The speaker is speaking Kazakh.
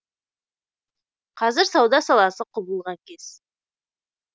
қазір сауда саласы құбылған кез